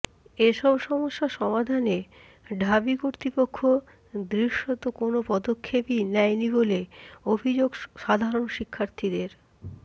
এসব সমস্যা সমাধানে ঢাবি কর্তৃপক্ষ দৃশ্যত কোনো পদক্ষেপই নেয়নি বলে অভিযোগ সাধারণ শিক্ষার্থীদের